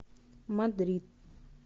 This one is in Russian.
мадрид